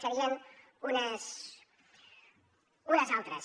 serien unes altres